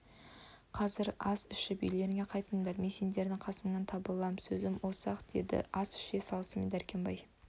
қазір ас ішіп үйлеріңе қайтыңдар мен сендердің қасыңнан табылам сөзім осы-ақ деді ас іше салысымен дәркембай